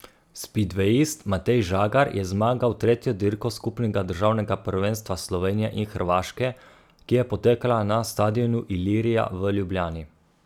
Spidvejist Matej Žagar je zmagal tretjo dirko skupnega državnega prvenstva Slovenije in Hrvaške, ki je potekala na stadionu Ilirija v Ljubljani.